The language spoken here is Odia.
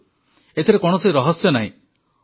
ଦେଖନ୍ତୁ ଏଥିରେ କୌଣସି ରହସ୍ୟ ନାହିଁ